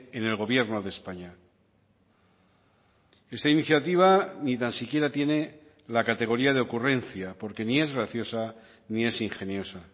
en el gobierno de españa esta iniciativa ni tan siquiera tiene la categoría de ocurrencia porque ni es graciosa ni es ingeniosa